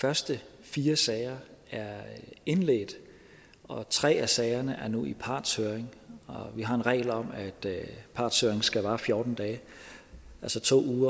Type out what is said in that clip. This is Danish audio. første fire sager er indledt og tre af sagerne er nu i partshøring vi har en regel om at partshøring skal vare fjorten dage altså to